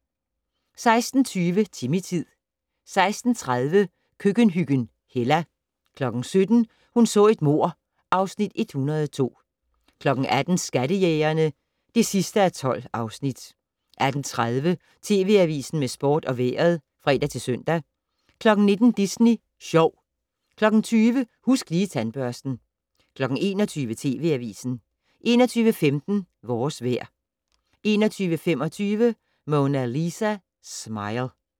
16:20: Timmy-tid 16:30: Køkkenhyggen Hella 17:00: Hun så et mord (Afs. 102) 18:00: Skattejægerne (12:12) 18:30: TV Avisen med sport og vejret (fre-søn) 19:00: Disney Sjov 20:00: Husk Lige Tandbørsten 21:00: TV Avisen 21:15: Vores vejr 21:25: Mona Lisa Smile